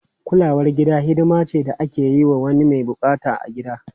Kulawar gida hidima ce da ake yi wa wani mai bukata a gida.